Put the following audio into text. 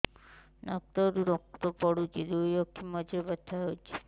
ନାକରୁ ରକ୍ତ ପଡୁଛି ଦୁଇ ଆଖି ମଝିରେ ବଥା ହଉଚି